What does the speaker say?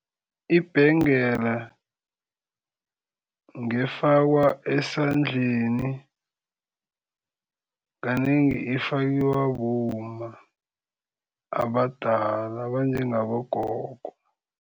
Ibhengela ngefakwa esandleni. Kanengi ifakiwa bomma abadala abanjengabogogo.